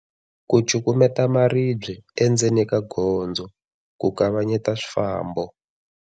Ku cukumetela maribye endzeni ka gondzo ku kavanyeta swifambo.